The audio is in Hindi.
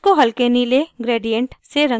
इसको हल्के नीले gradient से रंग करें